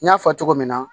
N y'a fɔ cogo min na